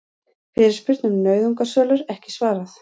Fyrirspurn um nauðungarsölur ekki svarað